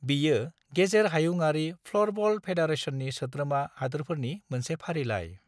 बेयो गेजेर हायुंआरि फ्ल'रबल फेडारेशननि सोद्रोमा हादोरफोरनि मोनसे फारिलाइ।